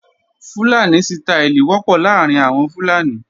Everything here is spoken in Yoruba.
Fúlàní sítááìlì wọ́pọ̀ láàrín àwọn Fúlàní